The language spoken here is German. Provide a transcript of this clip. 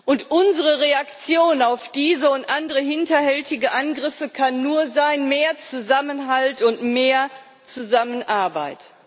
Und unsere Reaktion auf diese und andere hinterhältige Angriffe kann nur sein mehr Zusammenhalt und mehr Zusammenarbeit.